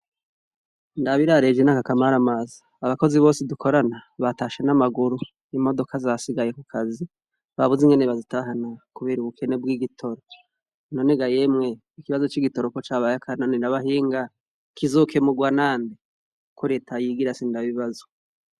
Ndabirareje n'aka kamara amazi abakozi bose dukorana batashe n'amaguru imodoka zasigaye ku kazi babuze ingene bazitahana, kubera ubukene bw'igitoroko none ga yemwe ikibazo c'igitoroko cabayakananoirabahinga kizokemurwa nande ko reta yigira sindabibazwa.